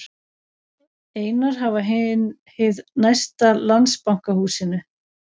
Einar hafa hið næsta Landsbankahúsinu.